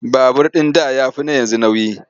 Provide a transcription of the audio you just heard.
Babur ɗin da ya fi na yanzu nauyi.